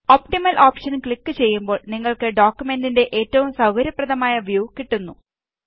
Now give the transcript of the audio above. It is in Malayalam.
ഓപ്ടിമൽ ഓപ്ഷന് ക്ലിക് ചെയ്യുമ്പോള് നിങ്ങള്ക്ക് ഡോക്കുമെന്റിന്റെ ഏറ്റവും സൌകര്യപ്രദമായ വ്യൂ കിട്ടുന്നു